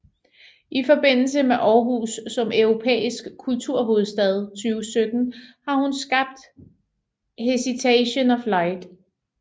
I forbindelse med Aarhus som Europæisk Kulturhovedstad 2017 har hun skabt Hesitation of Light